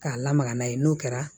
K'a lamaga n'a ye n'o kɛra